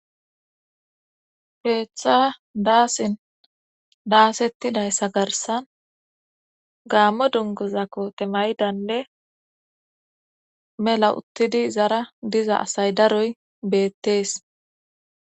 Keeththa daasin daasettidayssa garssan gaammo dunguza kote maydanne mella uttidi izara diza asay daroy beettees